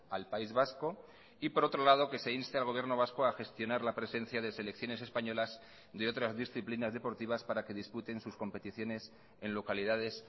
al país vasco y por otro lado que se inste al gobierno vasco a gestionar la presencia de selecciones españolas de otras disciplinas deportivas para que disputen sus competiciones en localidades